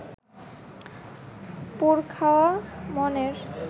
পোড় খাওয়া মনের